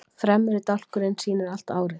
fremri dálkurinn sýnir allt árið